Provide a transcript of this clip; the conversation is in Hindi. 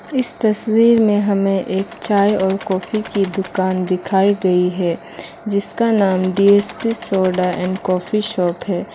इस तस्वीर में हमें एक चाय और कॉफी की दुकान दिखाई गई है जिसका नाम D S P soda and coffee shop है।